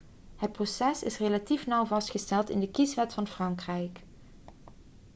het proces is relatief nauw vastgelegd in de kieswet van frankrijk